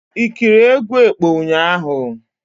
I ekiri egwu ekpo ụnyaahụ?